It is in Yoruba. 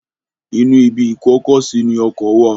Inú ibi ìkó-ọkọ-sí ní ọkọ wà.